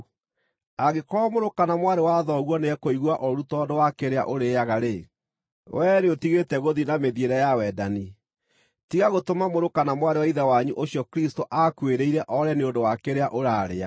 Angĩkorwo mũrũ kana mwarĩ wa thoguo nĩekũigua ũũru tondũ wa kĩrĩa ũrĩĩaga-rĩ, wee nĩũtigĩte gũthiĩ na mĩthiĩre ya wendani. Tiga gũtũma mũrũ kana mwarĩ wa Ithe wanyu ũcio Kristũ aakuĩrĩire oore nĩ ũndũ wa kĩrĩa ũrarĩa.